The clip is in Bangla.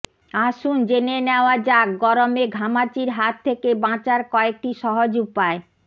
আসুন জেনে নেওয়া যাক গরমে ঘামাচির হাত থেকে বাঁচার কয়েকটি সহজ উপায়